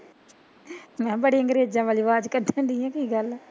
ਮਹਾਂ ਬੜੀ ਅੰਗਰੇਜਾਂ ਵਾਲੀ ਵਾਜ ਕੱਡਨ ਡਈ ਐ ਕੀ ਗੱਲ